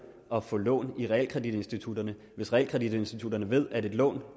at få lån i realkreditinstitutterne hvis realkreditinstitutterne ved at et lån